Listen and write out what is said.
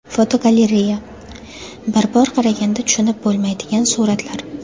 Fotogalereya: Bir bor qaraganda tushunib bo‘lmaydigan suratlar.